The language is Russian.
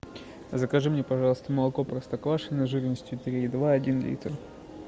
закажи мне пожалуйста молоко простоквашино жирностью три и два один литр